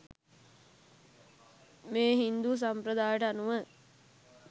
මේ හින්දු සම්ප්‍රදායට අනුව